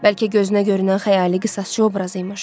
Bəlkə gözünə görünən xəyali qisasçı obrazı imiş.